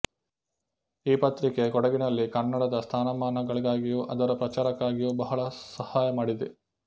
ಈ ಪತ್ರಿಕೆ ಕೊಡಗಿನಲ್ಲಿ ಕನ್ನಡದ ಸ್ಥಾನಮಾನಗಳಿಗಾಗಿಯೂ ಅದರ ಪ್ರಚಾರಕ್ಕಾಗಿಯೂ ಬಹಳ ಸಹಾಯ ಮಾಡಿದೆ